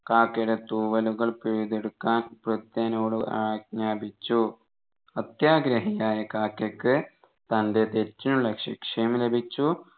കാക്കയുടെ തൂവലുകൾ പിഴുതെടുക്കാൻ ഭൃത്യനോട് ആജ്ഞാപിച്ചു അത്യാഗ്രഹിയായ കാക്കക്ക് തൻെറ തെറ്റിനുള്ള ശിക്ഷയും ലഭിച്ചു